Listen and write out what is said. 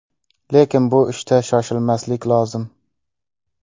Lekin bu ishda shoshilmaslik lozim.